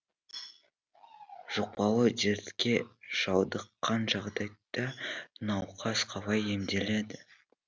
жұқпалы дертке шалдыққан жағдайда науқас қалай емделеді